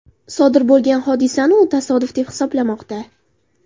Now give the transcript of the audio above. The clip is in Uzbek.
Sodir bo‘lgan hodisani u tasodif, deb hisoblamoqda.